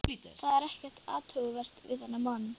Það er ekkert athugavert við þennan mann.